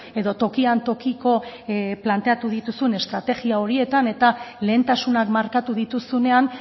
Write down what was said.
edo tokian tokiko planteatu dituzun estrategia horietan eta lehentasunak markatu dituzunean